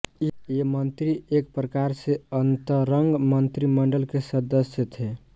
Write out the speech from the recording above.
ये मंत्री एक प्रकार से अंतरंग मंत्रिमंडल के सदस्य थे